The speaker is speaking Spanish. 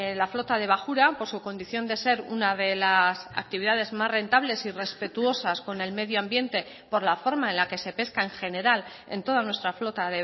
la flota de bajura por su condición de ser una de las actividades más rentables y respetuosas con el medio ambiente por la forma en la que se pesca en general en toda nuestra flota